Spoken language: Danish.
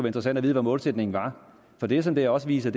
interessant at vide hvad målsætningen er for det som det også viser